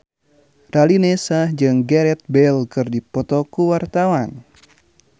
Raline Shah jeung Gareth Bale keur dipoto ku wartawan